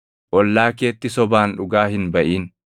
Ollaa keetti sobaan dhugaa hin baʼin.